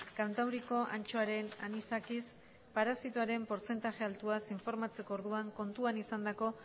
kantauriko antxoaren anisakis parasitoaren portzentaje altuaz informatzeko orduan kontuan izandako